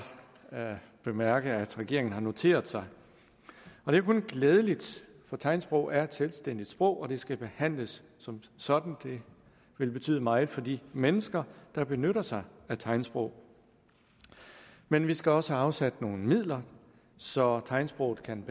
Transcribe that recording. bemærke at regeringen har noteret sig det er kun glædeligt for tegnsprog er et selvstændigt sprog og det skal behandles som sådan det vil betyde meget for de mennesker der benytter sig af tegnsprog men vi skal også have afsat nogle midler så tegnsprog kan